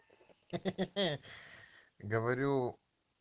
ахаха говорю